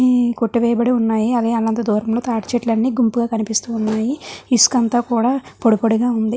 ఈవి అన్ని కొట్టి వేయబడి ఉన్నాయి అవి దూరాన తాటి చెట్లు కనిపిస్తున్నాయి ఇసుక అంత కూడా పొడి పొడి గ కనిపిస్తుంది.